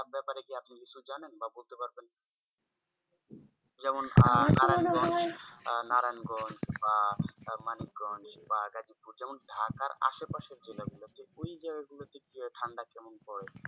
যেমন আমার তো মনে হয় আহ নারায়ণগঞ্জ বা মানিকগঞ্জ বা আগাড়িপুর যেমন ঢাকার আশেপাশে জেলাগুলো ওই জায়গাগুলোর যে ঠান্ডা কেমন পরে?